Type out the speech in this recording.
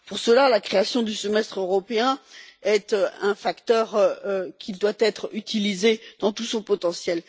Pour cela, la création du Semestre européen est un facteur qui doit être utilisé dans tout son potentiel.